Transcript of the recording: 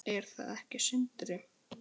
Er það ekki Sindri?